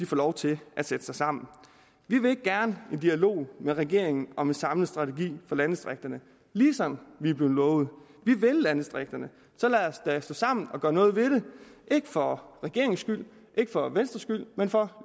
lov til at sætte sig sammen vi vil gerne en dialog med regeringen om en samlet strategi for landdistrikterne som vi er blevet lovet vi vil landdistrikterne så lad os da stå sammen og gøre noget ved det ikke for regeringens skyld ikke for venstres skyld men for